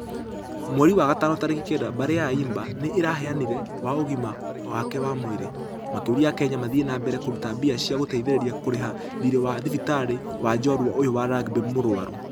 Mweri wa gatano tarĩki kenda , mbarĩ ya ayimba nĩ ĩraheanire ...wa ũgima wake wa mwĩrĩ . Makĩoria akenya mathie na mbere kũruta mbia cia gũteithereria kũreha thirĩ wa thibitarĩ wa jorua ũyũ wa rugby mũrwaru.